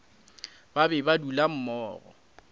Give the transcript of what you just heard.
ba be ba dula mmogo